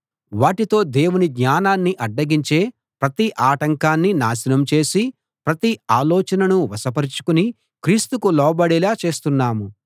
వాటితో దేవుని జ్ఞానాన్ని అడ్డగించే ప్రతి ఆటంకాన్నీ నాశనం చేసి ప్రతి ఆలోచననూ వశపరచుకుని క్రీస్తుకు లోబడేలా చేస్తున్నాం